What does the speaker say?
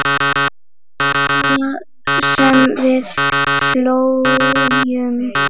Og það sem við hlógum.